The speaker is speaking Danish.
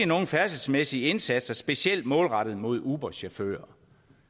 nogen færdselsmæssige indsatser specielt målrettet mod uber chauffører